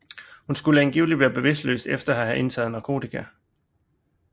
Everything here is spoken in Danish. Hun skulle angiveligt være bevidstløs efter at have indtaget narkotika